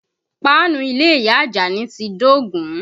Páànù ilé ìyá Ajani ti dógùn-ún